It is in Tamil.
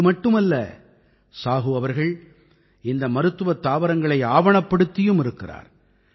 இது மட்டுமல்ல சாஹூ அவர்கள் இந்த மருத்துவத் தாவரங்களை ஆவணப்படுத்தியும் இருக்கிறார்